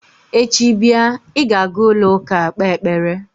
Echi bịa, ị ga-aga ụlọụka kpee ekpere!